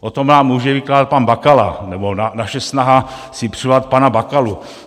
O tom vám může vykládat pan Bakala nebo naše snaha si přivolat pana Bakalu.